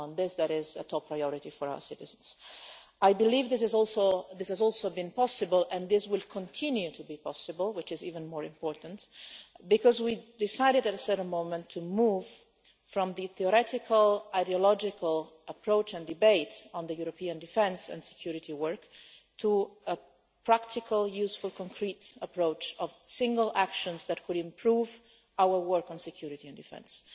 On this, there is a top priority for our citizens. This has also been possible, and will continue to be possible, which is even more important because we decided at a certain moment to move from the theoretical ideological approach and debate on European defence and security work to a practical, useful and concrete approach, consisting of single actions that could improve our work on security and defence,